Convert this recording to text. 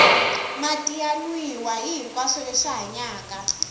mati ya nwiwa hihinkwaswo leswi hanyaka